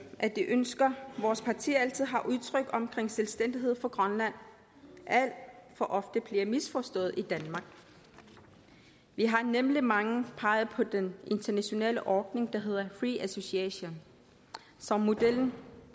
at de ønsker vores parti altid har udtrykt om selvstændighed for grønland alt for ofte bliver misforstået i danmark vi har nemlig mange peget på den internationale ordning der hedder free association som model